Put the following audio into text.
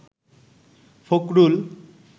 Fakhrul